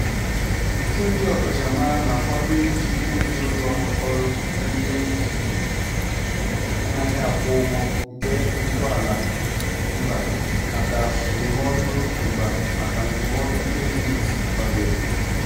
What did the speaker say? Ọtụtụ ndị ọkachamara na-akwado iji òtù ụlọ ọrụ ndị anaghị akwụ ụgwọ nke Ntọala Mba maka Ndụmọdụ Mba maka Ndụmọdụ Kredit kwadoro.